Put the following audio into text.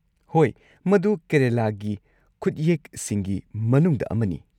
ꯍꯣꯏ, ꯃꯗꯨ ꯀꯦꯔꯂꯥꯒꯤ ꯈꯨꯠꯌꯦꯛꯁꯤꯡꯒꯤ ꯃꯅꯨꯡꯗ ꯑꯃꯅꯤ꯫